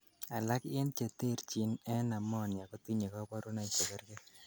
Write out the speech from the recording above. alak en cheterchin en pneumonia kotinyei kaborunoik chekergei